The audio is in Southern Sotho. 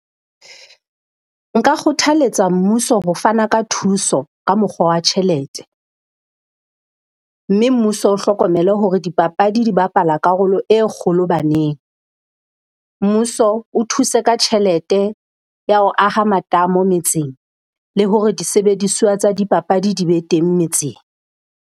Nka kgothaletsa mmuso ho fana ka thuso ka mokgwa wa tjhelete. Mme mmuso o hlokomele hore dipapadi di bapala karolo e kgolo baneng. Mmuso o thuse ka tjhelete ya ho aha matamo metseng. Le hore disebediswa tsa dipapadi di be teng metseng.